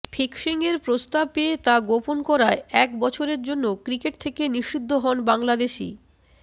ফিক্সিংয়ের প্রস্তাব পেয়ে তা গোপন করায় এক বছরের জন্য ক্রিকেট থেকে নিষিদ্ধ হন বাংলাদেশি